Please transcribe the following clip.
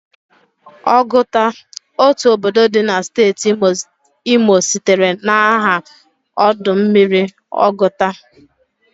Oguta, otu obodo di na steeti Imo sitere na aha ọdụ mmiri Ọgụta.